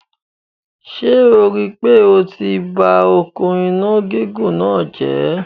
Ṣé o rí pé o ti ba òkun iná gígùn náà jẹ̀?